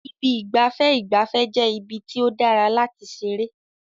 Ibi ìgbafẹ́ ìgbafẹ́ jẹ́ ibi tí ó dára láti ṣeré.